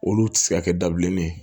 Olu ti se ka kɛ dabileni ye